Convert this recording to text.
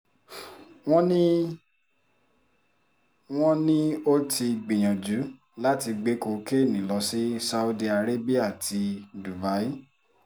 wọ́n ní wọ́n ní ó ti gbìyànjú láti gbé kokéènì lọ sí saudi arabia ti dubai